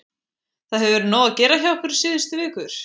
Það hefur verið nóg að gera hjá ykkur síðustu vikur?